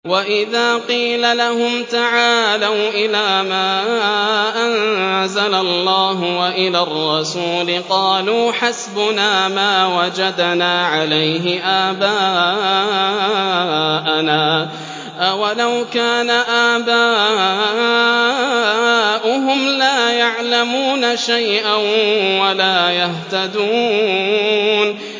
وَإِذَا قِيلَ لَهُمْ تَعَالَوْا إِلَىٰ مَا أَنزَلَ اللَّهُ وَإِلَى الرَّسُولِ قَالُوا حَسْبُنَا مَا وَجَدْنَا عَلَيْهِ آبَاءَنَا ۚ أَوَلَوْ كَانَ آبَاؤُهُمْ لَا يَعْلَمُونَ شَيْئًا وَلَا يَهْتَدُونَ